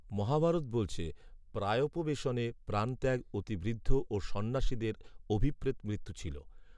মহাভারত বলছে প্রায়োপবেশনে প্রাণত্যাগ অতি বৃদ্ধ ও সন্ন্যাসীদের অভিপ্রেত মৃত্যু ছিল